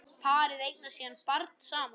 Parið eignast síðan barn saman.